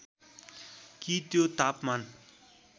कि त्यो तापमान